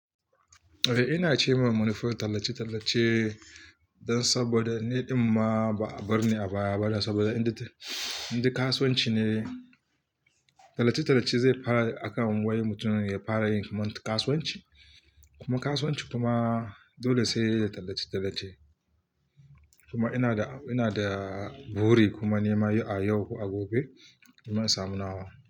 Eh, ina ce ma manufofin tallace-tallace don saboda ni ɗin ma ba a bar ni a baya ba da saboda in da, in da kasuwanci ne. Tallace-tallace zai fara akan waye mutumin ya fara yin kamar kasuwanci kuma kasuwanci kuma dole sai da tallace-tallace. Kuma ina da, ina da buri kuma nima a yau ko a gobe zan samu nawa.